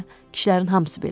kişilərin hamısı belədi.